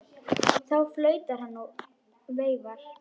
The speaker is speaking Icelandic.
Þá flautar hann og veifar.